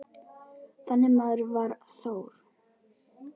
Þannig maður var Þór.